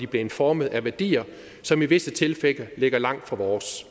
blevet formet af værdier som i visse tilfælde ligger langt fra vores